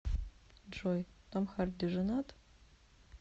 джой том харди женат